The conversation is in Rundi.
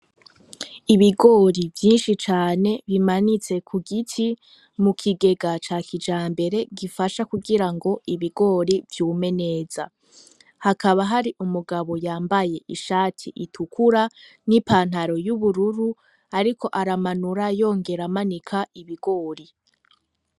Ibigori vyinshi cane bimanitse kugiti mukigega cakijambere gifasha kugirango ibigori vyume neza, hakaba hari umugabo yambaye ishati itukura nipantaro yubururu ariko aramanura yongera amanika ibigori.